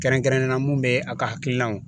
Kɛrɛnkɛrɛnnen la mun bɛ a ka hakilinaw